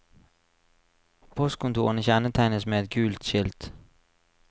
Postkontorene kjennetegnes med et gult skilt.